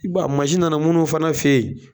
I ba nana minnu fana fe yen